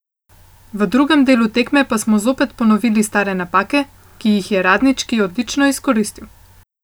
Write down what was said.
V drugem delu tekme pa smo zopet ponovili stare napake, ki jih je Radnički odlično izkoristil.